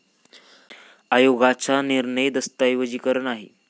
आयोगाच्या निर्णय दस्तऐवजीकरण आहे.